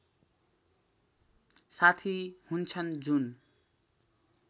साथी हुन्छन् जुन